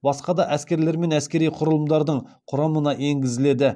басқа да әскерлер мен әскери құралымдардың құрамына енгізіледі